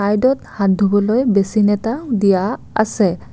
এইটো হাত ধুবলৈ বছিন এটা দিয়া আছে।